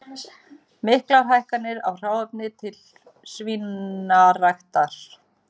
Miklar hækkanir á hráefni til svínaræktar